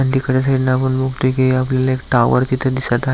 आणि तिकडच्या साडटन आपण बगतोय कि आपल्याला एक टाॅवर तिथ दिसत आ --